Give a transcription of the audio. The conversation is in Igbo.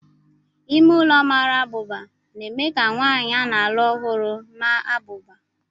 Ime ụlọ mara abụba na-eme ka nwanyị a na-alụ ọhụrụ maa abụba.